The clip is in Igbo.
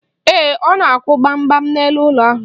Ee, ọ na-akwụ gbam gbam n'elu ụlọ ahụ.